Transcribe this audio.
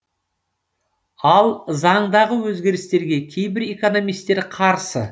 ал заңдағы өзгерістерге кейбір экономистер қарсы